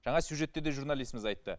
жаңа сюжетте де журналистіміз айтты